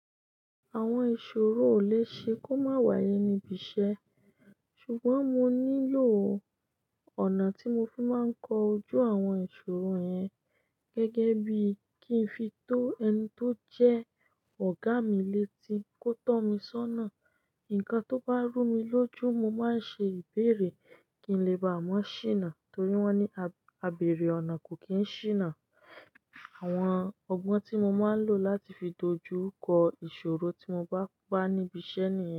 Àwọn ìṣòro ò le ṣe kó má wáyé níbi iṣẹ́ ṣùgbọ́n mo nílò ọ̀nà tí mo fi máa ń kọ ojú àwọn ìṣòro yẹn gẹ́gẹ́ bí kí n fi tó ẹni tó jẹ́ ọ̀gá mi létí kó tọ́ mi sọ́nà. Ǹkan tó bá rú mi lójú mo máa ń ṣe ìbéèrè kí n lè bá mọn ṣíná torí wọ́n ní abèrè ọ̀nà kò kí n ṣíná. Àwọn ọgbọ́n tí mo máa ń lò láti fi dojú kọ ìṣòro tí mo bá ba níbi iṣẹ́ nìyẹn.